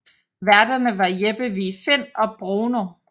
Værterne var Jeppe Vig Find og Bruno